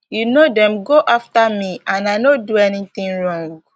you know dem go after me and i no do anything wrong